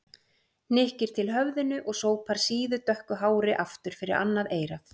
Hnykkir til höfðinu og sópar síðu, dökku hári aftur fyrir annað eyrað.